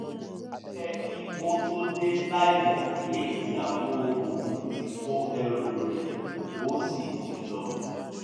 ó pẹ́ kí ó tó dé láìmọ̀ pé ìyàwó òun ti kó ẹrù rẹ̀ ó sì ti lọ